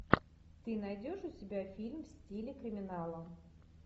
ты найдешь у себя фильм в стиле криминала